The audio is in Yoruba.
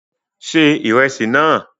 Se ìrẹsì náà!